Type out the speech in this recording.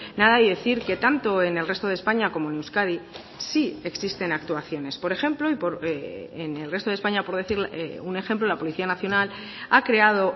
nada y decir que tanto en el resto de españa como en euskadi sí existen actuaciones por ejemplo y en el resto de españa por decir un ejemplo la policía nacional ha creado